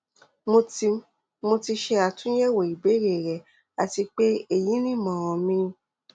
mo ti mo ti ṣe atunyẹwo ibeere rẹ ati pe eyi ni imọran mi